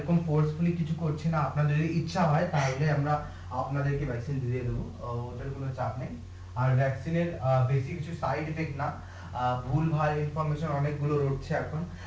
কিছু করছি না আপনার যদি ইচ্ছা হয় তাহলে আমরা আপনাদের কে দিয়ে দেবো অ্যাঁ ওদের কোন চাপ নেই আর এর বেশ কিছু সাইট দেখলাম অ্যাঁ ভুলভাল অনেক গুলো রোড়ছে এখন